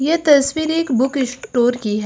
ये तस्वीर एक बुक स्टोर की है।